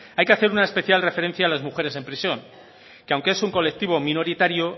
hay que hacer una especial referencia a las mujeres en prisión que aunque es un colectivo minoritario